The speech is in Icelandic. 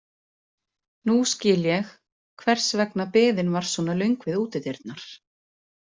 Nú skil ég hvers vegna biðin var svona löng við útidyrnar.